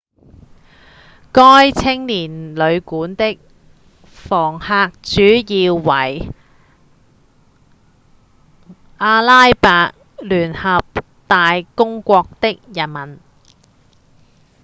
該青年旅館的房客主要為阿拉伯聯合大公國人民